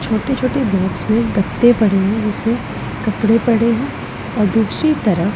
छोटे छोटे बॉक्स में गत्ते पड़े हैं जिसमें कपड़े पड़े हैं और दूसरी तरफ--